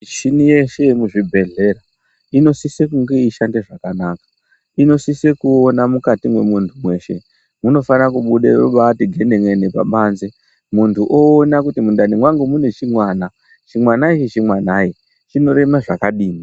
Mishini yeshe yemuzvibhedhlera inosise kunge yeishanda zvakanaka inosise kuona mukati mwemuntu weshe munofane kubuda kubaiti genen'ene pabanze , muntu oona kuti mundani mangu mune chimwana, chimwana ichi chimwanai, chinorema zvakadini.